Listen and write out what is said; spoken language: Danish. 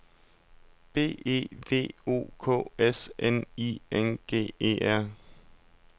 B E V O K S N I N G E R